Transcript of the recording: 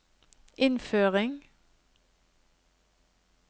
innføring